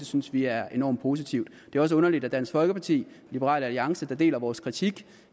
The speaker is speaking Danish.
synes vi er enormt positivt det er også underligt at dansk folkeparti og liberal alliance der deler vores kritik